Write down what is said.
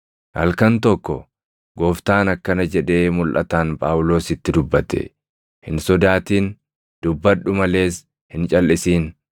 Halkan tokko Gooftaan akkana jedhee mulʼataan Phaawulositti dubbate; “Hin sodaatin; dubbadhu malees hin calʼisin.